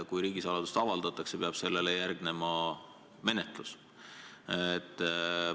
Kui riigisaladus avaldatakse, peab sellele järgnema menetlus.